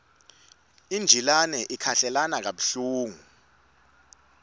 injilane ikhahlelana kabuhlungu